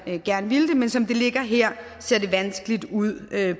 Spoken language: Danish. man gerne ville men som det ligger her ser det vanskeligt ud